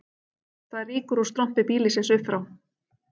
Það rýkur úr strompi býlisins upp frá